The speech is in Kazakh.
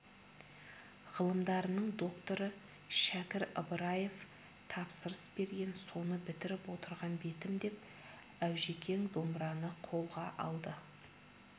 ғылымдарының докторы шәкір ыбыраев тапсырыс берген соны бітіріп отырған бетім деп аужекең домбыраны қолға алды